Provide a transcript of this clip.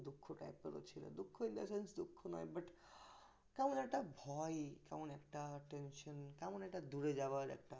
দুঃখটা ছিল দুঃখ in the sense ঠিক দুঃখ নয় কেমন একটা ভয় কেমন একটা tension কেমন একটা দূরে যাবার একটা